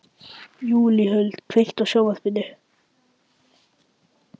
Júlíhuld, kveiktu á sjónvarpinu.